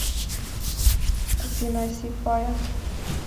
афина ай си фаер